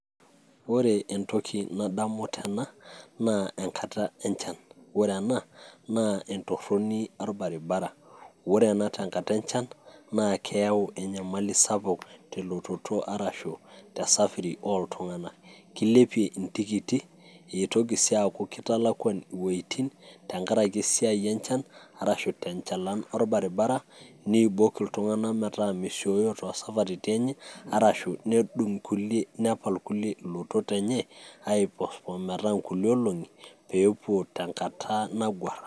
ore entoki nadamu tena naa enkta enchan, ore ena naa entoroni orbaribara, ore ena tenkata enchan naa keyau enyamali sapuk telototo arashu tesafi ooltunganak, kilepie intikiti, nitoki sii aaku kitalakuan intokitin ttenkaraki esia enchan. arashu tenchalan orbaribara. neibok iltunganak metaa meibooyo toosaparitin enye arashu nedung, nepal kulie intonat enye ai postpone pee inkulie olongi pee epuo tenkata nataguara.